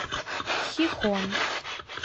хихон